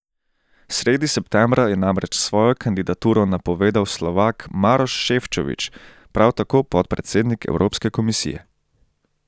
Sredi septembra je namreč svojo kandidaturo napovedal Slovak Maroš Šefčovič, prav tako podpredsednik Evropske komisije.